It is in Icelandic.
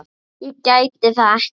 Ég gæti það ekki.